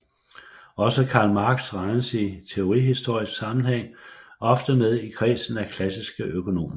Også Karl Marx regnes i teorihistorisk sammenhæng ofte med i kredsen af klassiske økonomer